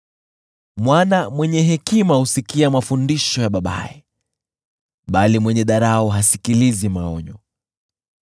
Mwana mwenye hekima husikia mafundisho ya babaye, bali mwenye dharau hasikilizi maonyo.